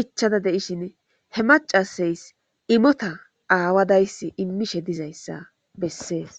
ichada de7ishin he macasays imota aawadayssi immishe dizayssa bessees.